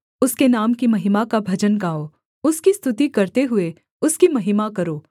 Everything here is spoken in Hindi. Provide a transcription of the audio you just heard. उसके नाम की महिमा का भजन गाओ उसकी स्तुति करते हुए उसकी महिमा करो